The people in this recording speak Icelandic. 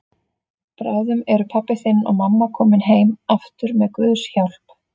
Bráðum eru pabbi þinn og mamma komin heim aftur með Guðs hjálp.